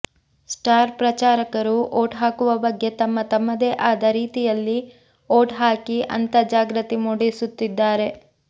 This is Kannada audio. ಸ್ಟಾರ್ ಪ್ರಚಾರಕರು ಓಟ್ ಹಾಕುವ ಬಗ್ಗೆ ತಮ್ಮ ತಮ್ಮದೇ ಆದ ರೀತಿಯಲ್ಲಿ ಓಟ್ ಹಾಕಿ ಅಂತಾ ಜಾಗೃತಿ ಮೂಡಿಸುತ್ತಿದ್ದಾರೆ